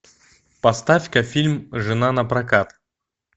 поставь ка фильм жена напрокат